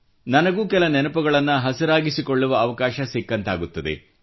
ನನಗೂ ಕೆಲ ನೆನಪುಗಳನ್ನು ಹಸಿರಾಗಿಸಿಕೊಳ್ಳುವ ಅವಕಾಶ ಸಿಕ್ಕಂತಾಗುತ್ತದೆ